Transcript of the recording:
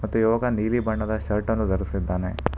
ಮತ್ತು ಯುವಕ ನೀಲಿ ಬಣ್ಣದ ಶರ್ಟ್ ಅನ್ನು ಧರಿಸಿದ್ದಾನೆ.